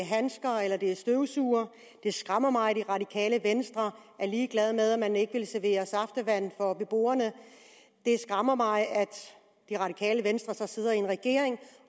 handsker eller støvsugere det skræmmer mig at det radikale venstre er ligeglad med at man ikke vil servere saftevand for beboerne det skræmmer mig at det radikale venstre sidder i regering